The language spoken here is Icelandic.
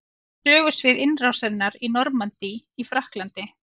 Sögusvið innrásarinnar í Normandí í Frakklandi.